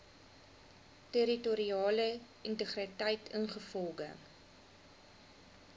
territoriale integriteit ingevolge